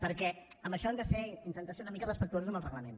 perquè en això hem d’intentar ser una mica respectuosos amb el reglament